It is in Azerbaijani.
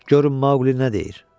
Görün Maqli nə deyir.